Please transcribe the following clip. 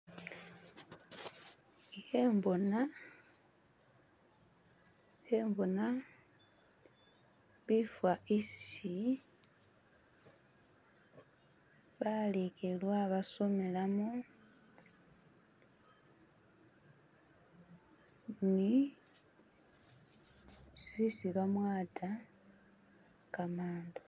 Ikhembona, ikhembona bifa isi balekelwa basomelamo ni isi bamwata kamandu.